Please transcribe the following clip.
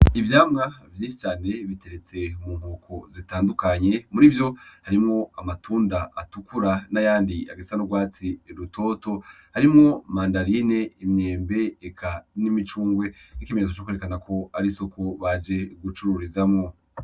Ivyamwa vyinshi cane biteretse mu nkoko zitandukanye, mur'ivyo harimwo amatunda atukura, n'ayandi asa n'ugwatsi rutoto, harimwo mandarine, imyembe, eka n'imicungwe nk'ikimenyetso co kwerekana ko ari isoko baje gucururizamwo.